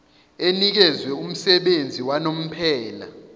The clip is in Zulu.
enikezwe umsebenzi wanomphela